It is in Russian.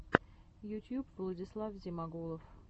ютьюб владислав зимагулов